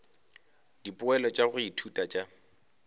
dipoelo tša go ithuta tša